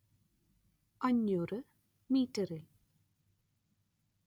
അഞ്ഞൂര്‍ മീറ്ററിൽ